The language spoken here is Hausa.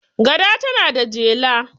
gada tana da jela